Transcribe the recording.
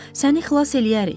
Səni xilas eləyərik.